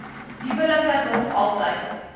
huwelike nog altyd